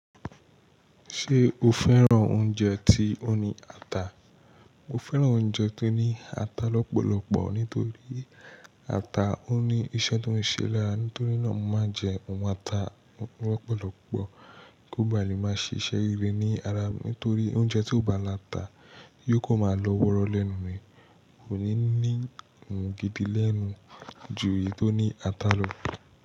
Ṣé o fẹ́ràn oúnjẹ tí ó ní ata? Mo fẹ́ràn oúnjẹ tó ní ata lọ́pọ̀lọpọ̀ nítorí ata ó ní iṣẹ́ tó ń ṣe lára. Nítorí náà, mo máa ń jẹ òun ata lọ́pọ̀lọpọ̀ kí ó ba lè máa ṣiṣẹ́ ire ní ara mi. Nítorí oúnjẹ tí kò bá la ata yóò kó máa lọ wọ́rọ́ lẹ́nu mi, kò ní ní gidi lẹ́nu ju èyí tó ní ata lọ.